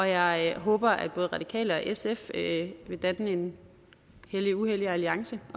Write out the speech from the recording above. jeg håber at både radikale venstre og sf vil vil danne en helliguhellig alliance